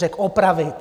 Řekl opravit.